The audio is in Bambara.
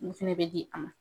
Mun fɛnɛ bɛ di a ma ?